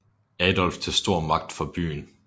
Adolf til stor magt for byen